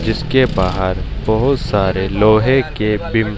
जिसके बाहर बहुत सारे लोहे के बीम--